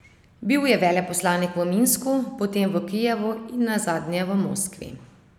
Bil je veleposlanik v Minsku, potem v Kijevu in nazadnje v Moskvi.